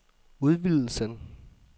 udvidelsen